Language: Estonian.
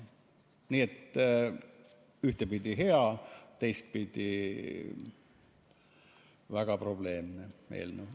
Nii et ühtpidi hea, teistpidi väga probleemne eelnõu.